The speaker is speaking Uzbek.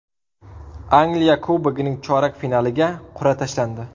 Angliya Kubogining chorak finaliga qur’a tashlandi.